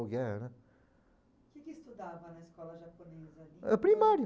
né. O que que estudava na escola japonesa ali? Primário.